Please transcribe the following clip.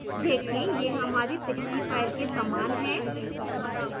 देखें यह हमारी पिछली file के समान है